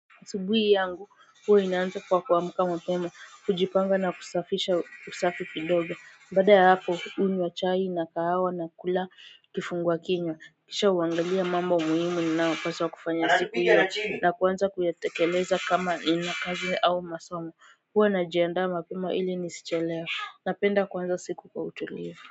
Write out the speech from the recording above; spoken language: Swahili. Asubuhi yangu huwa inaanza kwa kuamka mapema kujipanga na kusafisha usafi kidogo baada ya hapo hunywa chai na kahawa na kula kifungua kinywa, kisha huangalia mambo muhimu ninayopaswa kufanya siku hiyo, na kuanza kuyatekeleza kama ina kazi au masomo, huwa najiandaa mapema ili nisichelewe, napenda kuanza siku kwa utulivu.